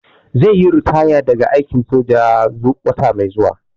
Zai yi ritaya daga aikin soja wata mai zuwa.